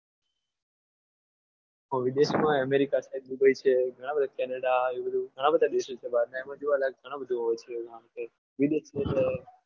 વિદેશમાં એ america છે dubai છે ઘણા બધા canada એવું બધું ઘણા બધા દેશો છે જોવાલાયક ઘણા બધા એવું હોય છે વિદેશ એટલે